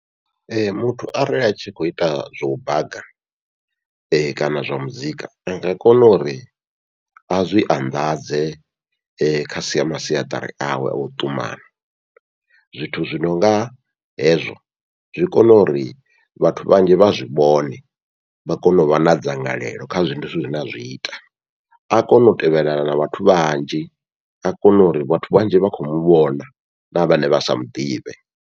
Muthu arali a khou ita zwau baga, kana zwa muzika anga kona uri azwi anḓadze kha masiaṱari awe au ṱumana, zwithu zwi nonga hezwo zwi kona uri vhathu vhanzhi vha zwivhone, vha kone uvha na dzangalelo kha zwenezwo zwithu zwine azwi ita, a kone u tevhelelana na vhathu vhanzhi a kone uri vhathu vhanzhi vha khou muvhona na vhane vha sa muḓivhe.